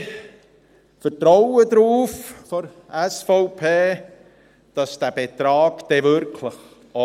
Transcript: Wir von der SVP vertrauen darauf, dass der Betrag dann auch wirklich ausreicht.